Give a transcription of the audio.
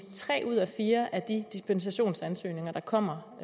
tre ud af fire af de dispensationsansøgninger der kommer